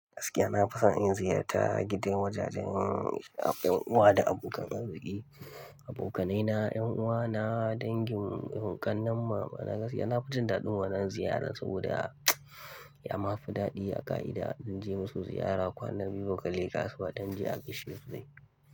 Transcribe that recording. Gaskiya na fason in ziyarta, gidan wajajen ƴan uwa da abokan arziƙi, abokanai na, ƴan uwa na, dangin ƙananan mama na gaskiya na fi jin daɗin wannan ziyara, saboda, ya ma fi daɗi a ƙa'ida in je musu ziyara kwana biyu ba ka leƙa su ba adon je a gishiri su dai.